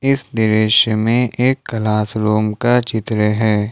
इस दृश्य में एक क्लास रूम का चित्र है।